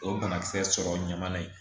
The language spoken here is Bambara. O ye banakisɛ sɔrɔ ɲaman ye